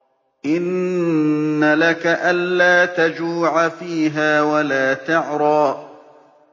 إِنَّ لَكَ أَلَّا تَجُوعَ فِيهَا وَلَا تَعْرَىٰ